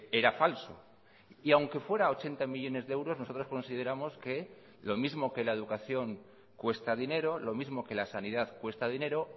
era falso y aunque fuera ochenta millónes de euros nosotros consideramos que lo mismo que la educación cuesta dinero lo mismo que la sanidad cuesta dinero